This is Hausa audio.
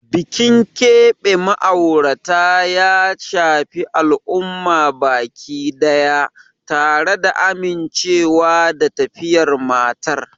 Bikin keɓe ma'aurata ya shafi al'umma baki daya, tare da amincewa da tafiyar matar.